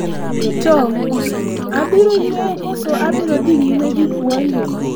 to, abiro yueyo koso abiro dhi nyime gi puonjo?